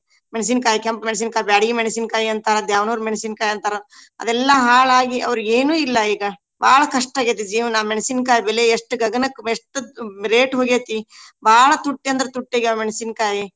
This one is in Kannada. ಮೆಣಸಿನಕಾಯಿ ಕೆಂಪ್ ಮೆಣಸಿನಕಾಯಿ, ಬ್ಯಾಡಗಿ ಮೆಣಸಿನಕಾಯಿ ಅಂತಾರ ದ್ಯಾವನೂರ ಮೆಣಸಿನಕಾಯಿ ಅಂತಾರ. ಅವೆಲ್ಲಾ ಹಾಳ ಆಗಿ ಅವ್ರಿಗ ಏನು ಇಲ್ಲಾ ಈಗ. ಬಾಳ ಕಷ್ಟ ಆಗೇತಿ ಜೀವನಾ ಮೆಣಸಿನಕಾಯಿ ಬೆಲೆ ಎಷ್ಟ ಗಗನಕ್ಕ ಎಷ್ಟ ತು rate ಹೊಗೇತಿ. ಬಾಳ ತುಟ್ಟಿ ಅಂದ್ರ ತುಟ್ಟಿ ಆಗ್ಯಾವ ಮೆಣಸಿನಕಾಯಿ.